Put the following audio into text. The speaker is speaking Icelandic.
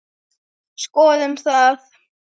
Skoðum það.